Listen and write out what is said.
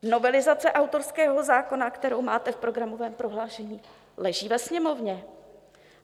Novelizace autorského zákona, kterou máte v programovém prohlášení, leží ve Sněmovně.